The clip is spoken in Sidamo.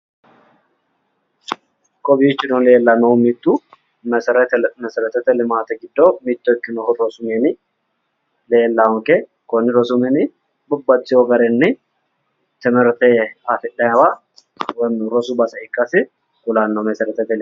Kowiichono mittu mesereti limaatete. giddo mitto ikkinohu konni tosu mininni babbaxxitewo garinni timirte afi'naawa woyiimmi rosu mine ikkasi kulanno mesereti limaate..